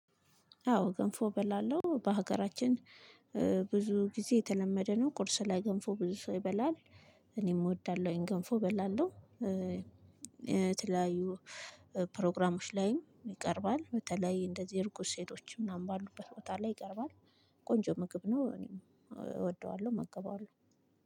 አዎ ገንፎ እበላለሁ በሀገራችን ብዙ ጊዜ የተለመደ ነው። ቁርስ ላይ ገንፎ ብዙ ሰው ይበላል እኔም እወዳለሁ እኔም ገንፎ እበላለሁ። የተለያዩ ፕሮግራሞች ላይም ይቀርባል በተለይ እንደዚህ እርጉዝ ሴቶች ምናምን ባሉበት ቦታ ላይ ይቀርባል ቆንጆ ምግብ ነው እኔም እወደዋለሁ እመገባዋለሁ።